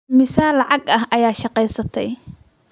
Immisa lacag ah ayaad shaqeysatay?